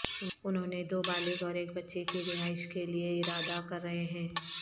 انہوں نے دو بالغ اور ایک بچے کی رہائش کے لئے ارادہ کر رہے ہیں